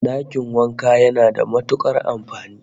Dakin wanka yana da matukar amfani